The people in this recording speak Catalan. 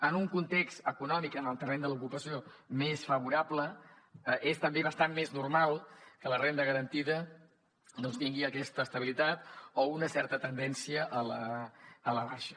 en un context econòmic en el terreny de l’ocupació més favorable és també bastant més normal que la renda garantida doncs tingui aquesta estabilitat o una certa tendència a la baixa